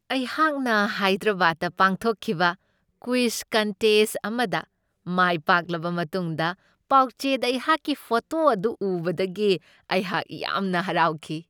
ꯑꯩꯍꯥꯛꯅ ꯍꯥꯏꯗ꯭ꯔꯕꯥꯗꯇ ꯄꯥꯡꯊꯣꯛꯈꯤꯕ ꯀ꯭ꯋꯤꯖ ꯀꯟꯇꯦꯁ꯭ꯠ ꯑꯃꯗ ꯃꯥꯏ ꯄꯥꯛꯂꯕ ꯃꯇꯨꯡꯗ ꯄꯥꯎꯆꯦꯗ ꯑꯩꯍꯥꯛꯀꯤ ꯐꯣꯇꯣ ꯑꯗꯨ ꯎꯕꯗꯒꯤ ꯑꯩꯍꯥꯛ ꯌꯥꯝꯅ ꯍꯔꯥꯎꯈꯤ ꯫